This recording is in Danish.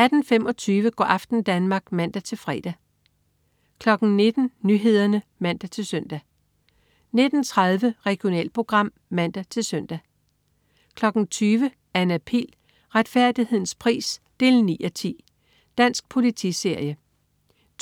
18.25 Go' aften Danmark (man-fre) 19.00 Nyhederne (man-søn) 19.30 Regionalprogram (man-søn) 20.00 Anna Pihl. Retfærdighedens pris 9:10. Dansk politiserie